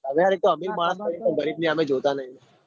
તમે યાર એક તો અમીર છે રીબ ની હામે જોતા નઈ